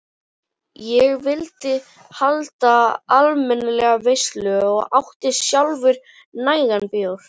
Ég vildi halda almennilega veislu og átti sjálfur nægan bjór.